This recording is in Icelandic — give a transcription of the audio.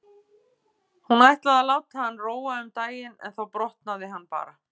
Hún ætlaði að láta hann róa um daginn en þá brotnaði hann bara.